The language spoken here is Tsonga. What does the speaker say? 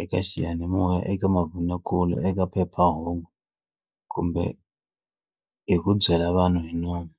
eka xiyanimoya eka mavonakule eka phephahungu kumbe hi ku byela vanhu hi nomu.